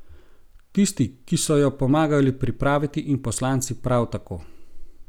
Tisti, ki so jo pomagali pripraviti, in poslanci prav tako.